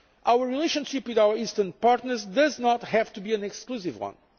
Union. Our relationship with our Eastern partners does not have to be an exclusive